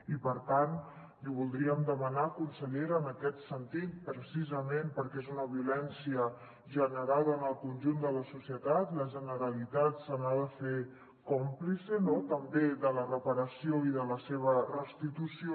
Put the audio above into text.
i per tant li voldríem demanar consellera en aquest sentit precisament perquè és una violència generada en el conjunt de la societat la generalitat se n’ha de fer còmplice no també de la reparació i de la seva restitució